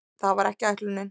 Það var ekki ætlunin.